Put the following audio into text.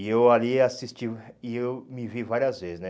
E eu ali assisti, e eu me vi várias vezes, né?